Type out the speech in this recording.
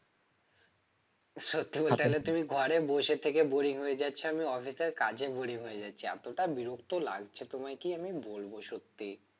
সত্যি বলতে গেলে তুমি ঘরে বসে থেকে boring হয়ে যাচ্ছ আমি office এর কাজে boring হয়ে যাচ্ছি এতটা বিরক্ত লাগছে তোমায় কি বলবো সত্যি